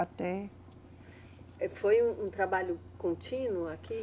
Até. Eh, foi um trabalho contínuo aqui?